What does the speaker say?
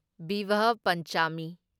ꯚꯤꯚꯥꯍ ꯄꯟꯆꯥꯃꯤ